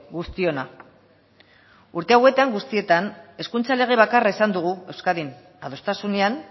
guztiona urte hauetan guztietan hezkuntza lege bakarra izan dugu euskadin adostasunean